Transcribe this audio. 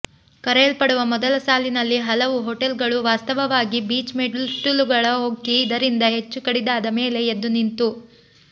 ಕರೆಯಲ್ಪಡುವ ಮೊದಲ ಸಾಲಿನಲ್ಲಿ ಹಲವು ಹೋಟೆಲ್ಗಳು ವಾಸ್ತವವಾಗಿ ಬೀಚ್ ಮೆಟ್ಟಿಲುಗಳ ಹೊಕ್ಕಿ ಇದರಿಂದ ಹೆಚ್ಚು ಕಡಿದಾದ ಮೇಲೆ ಎದ್ದುನಿಂತು